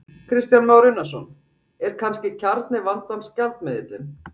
Kristján Már Unnarsson: Er kannski kjarni vandans gjaldmiðillinn?